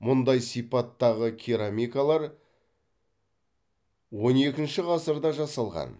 мұндай сипаттағы керамикалар он екінші ғасырда жасалған